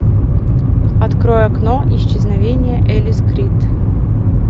открой окно исчезновение элис крид